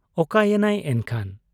ᱚᱠᱟᱭᱮᱱᱟᱭ ᱮᱱᱠᱷᱟᱱ ?